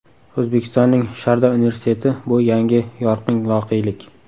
O‘zbekistonning Sharda universiteti - bu yangi yorqin voqelik!